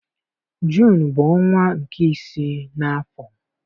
Juunu bụ ọnwa nke isii n'afọ.